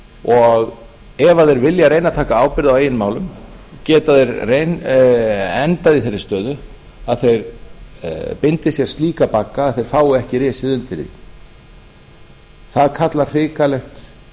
og ef þeir vilja reyna að taka ábyrgð á eigin málum geta þeir endað í þeirri stöðu að þeir bindi sér slíka bagga að þeir fái ekki risið undir því það kallar hrikalegt